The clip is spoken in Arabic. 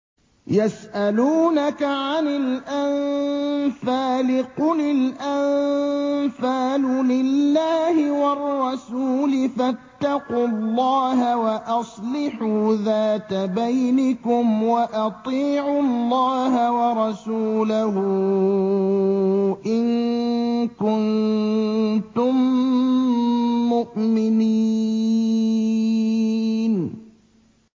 يَسْأَلُونَكَ عَنِ الْأَنفَالِ ۖ قُلِ الْأَنفَالُ لِلَّهِ وَالرَّسُولِ ۖ فَاتَّقُوا اللَّهَ وَأَصْلِحُوا ذَاتَ بَيْنِكُمْ ۖ وَأَطِيعُوا اللَّهَ وَرَسُولَهُ إِن كُنتُم مُّؤْمِنِينَ